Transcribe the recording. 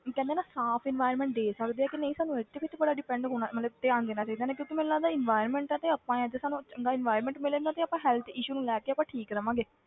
ਕਹਿੰਦੇ ਹਾਂ ਨਾ ਸਾਫ਼ environment ਦੇ ਸਕਦੇ ਆ ਕਿ ਨਹੀਂ ਸਾਨੂੰ ਇਹ ਤੇ ਵੀ ਤੇ ਬੜਾ depend ਹੋਣਾ ਮਤਲਬ ਧਿਆਨ ਦੇਣਾ ਚਾਹੀਦਾ ਨਾ ਕਿਉਂਕਿ ਮੈਨੂੰ ਲੱਗਦਾ environment ਆ ਤੇ ਆਪਾਂ ਹੈ ਤੇ ਸਾਨੂੰ ਚੰਗਾ environment ਮਿਲੇਗਾ ਤੇ ਆਪਾਂ health issue ਨੂੰ ਲੈ ਕੇ ਆਪਾਂ ਠੀਕ ਰਵਾਂਗੇ।